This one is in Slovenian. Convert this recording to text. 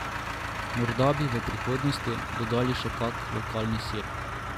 Morda bi v prihodnosti dodali še kak lokalni sir.